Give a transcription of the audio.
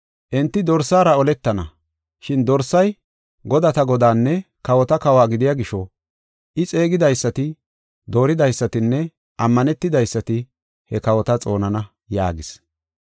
Enti Dorsaara oletana, shin dorsay godata Godaanne kawota Kawo gidiya gisho, I xeegidaysati, dooridaysatinne ammanetidaysati he kawota xoonana” yaagis.